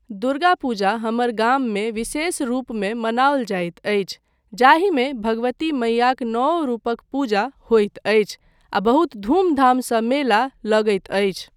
दुर्गा पूजा हमर गाममे विशेष रूपमे मनाओल जाइत अछि जाहिमे भगवती मैयाक नौओ रूपक पूजा होइत अछि आ बहुत धूमधामसँ मेला लगैत अछि।